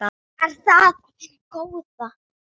Er það af hinu góða?